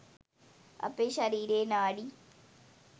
අපේ ශරීරයේ නාඩි